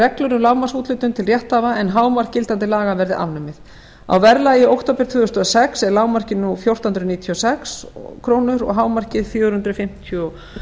reglur um lágmarksúthlutun til rétthafa en hámark gildandi laga verði afnumið á verðlagi október tvö þúsund og sex er verðlagið nú fjórtán hundruð níutíu og sex krónur og hámarkið fjögur hundruð fimmtíu og